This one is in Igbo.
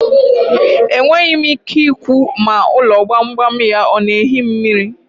Enweghi m ike ikwu ma ulo gbam gbam ya o ga-ehi mmiri.